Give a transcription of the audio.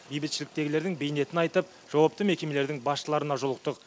бейбітшіліктегілердің бейнетін айтып жауапты мекемелердің басшыларына жолықтық